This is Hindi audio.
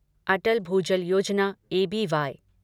अटल भूजल योजना एबीवाय